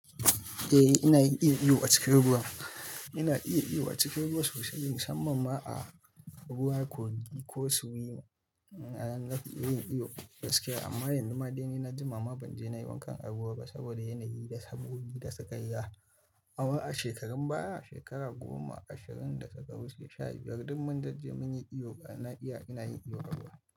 Ina iya iyo a cikin ruwa. Ina iya iyo a cikin ruwa sosai musamman ma a ruwa kogi ko swim. Na ga iyo-iyo gaskiya amma yanzu ma dai ni na jima ma ban je na yi wankan ruwa ba saboda yanayi da sabgogi da suka yi. A shekarun baya, shekara goma, ashirin da suka wuce, sha biyar duk mun jajje mun yi iyo, na iya, ina yin iyo a ruwa.